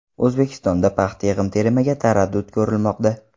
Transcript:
O‘zbekistonda paxta yig‘im-terimiga taraddud ko‘rilmoqda.